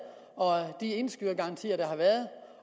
og de indskydergarantier der har været